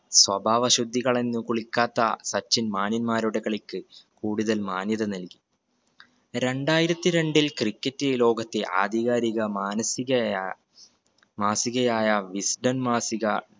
സ്വഭാവ അശുദ്ധി കളഞ്ഞു കുളിക്കാത്ത സച്ചിൻ മാന്യന്മാരുടെ കളിക്ക് കൂടുതൽ മാന്യത നൽകി. രണ്ടായിരത്തി രണ്ടിൽ cricket ഈ ലോകത്തെ ആധികാരിക മാനസികയാ മാസികയായ wisdom മാസിക